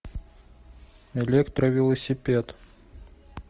электровелосипед